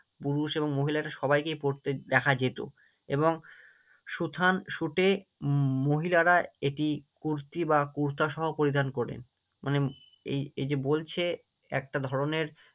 পুরুষ এবং মহিলা সবাইকেই পরতে দেখা যেত এবং সুথান সুটে মহিলারা এটি কুর্তি বা কুর্তা সহ পরিধান করেন, মানে এই এই যে বলছে একটা ধরণের